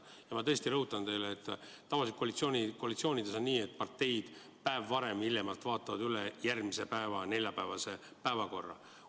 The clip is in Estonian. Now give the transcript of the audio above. Ma tõesti rõhutan, et tavaliselt on koalitsioonides nii, et parteid hiljemalt üks päev varem vaatavad üle järgmise päeva päevakorra.